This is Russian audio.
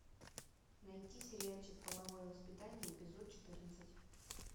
найти сериальчик половое воспитание эпизод четырнадцать